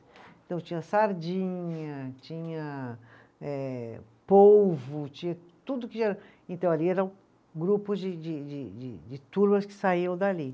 Então tinha sardinha, tinha eh, polvo, tinha tudo que já, então ali eram grupos de de de de, de turmas que saíam dali.